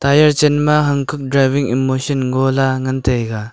aya chan ma hankhan driving emoshan gola ngan taiga.